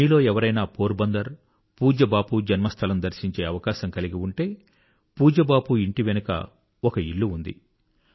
మీలో ఎవరైనా పోర్ బందర్ పూజ్య బాపూ జన్మస్థలం దర్శించే అవకాశం కలిగి ఉంటే పూజ్య బాపూ ఇంటి వెనుక ఒక ఇల్లు ఉంది